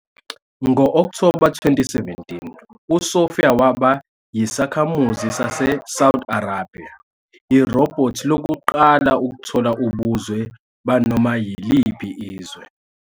Ngo-Okthoba 2017, uSophia "waba" yisakhamuzi saseSaudi Arabia, irobhothi lokuqala ukuthola ubuzwe banoma yiliphi izwe.